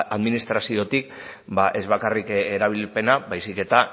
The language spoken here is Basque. administraziotik ez bakarrik erabilpena baizik eta